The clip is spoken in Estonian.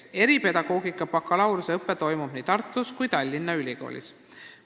Eripedagoogika bakalaureuseõpe toimub nii Tartu Ülikoolis kui ka Tallinna Ülikoolis.